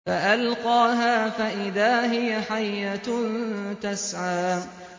فَأَلْقَاهَا فَإِذَا هِيَ حَيَّةٌ تَسْعَىٰ